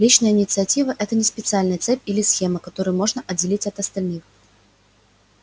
личная инициатива это не специальная цепь или схема которую можно отделить от остальных